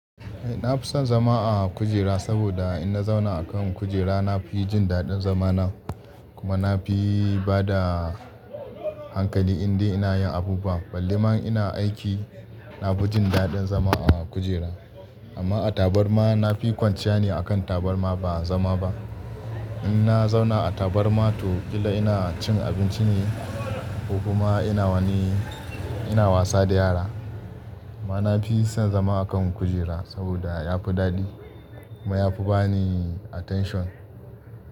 Eh na fi son zama a kujera saboda in na zauna a kan kujera na fi jin daɗin zama nan. Kuma na fi bada hankali in dai ina yin abubuwa. Ballema ina aiki na fi jin daɗin zama a kujera. Amma a tabarma na fi kwanciya ne a kan tabarma ba zama ba. In na zauna a tabarma to ƙila ina cin abinci ne ko kuma ina wani, ina wasa da yara. Amma na fi son zama a kan kujera saboda ya fi daɗi kuma ya fi bani attention.